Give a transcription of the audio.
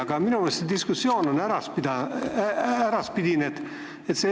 Ja minu meelest see diskussioon siin on olnud äraspidine.